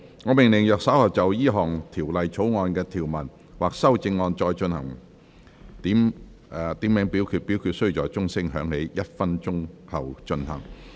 我命令若稍後就本條例草案的條文或其修正案進行點名表決，表決須在鐘聲響起1分鐘後進行。